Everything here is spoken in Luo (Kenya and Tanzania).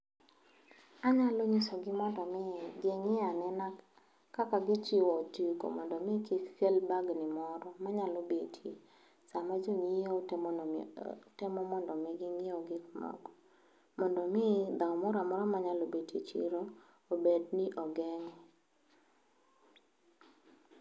Anyalo nyisogi mondo mi ging'i anena kaka gichiwo otiko mondo mi kik kel bagni moro manyalo betie sama jonyiewo temo mondo ginyiewe gik moko mondo mi dhaw moro amora manyalo bedo e chiro obedni ogeng'